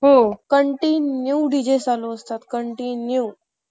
Continue D J चालू असतात.. continue !!!